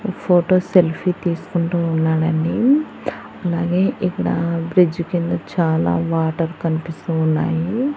Photo selfie తీసుకుంటూ ఉన్నాడండి అలాగే ఇక్కడ బ్రిడ్జి కింద చాలా వాటర్ కనిపిస్తూ ఉన్నాయి.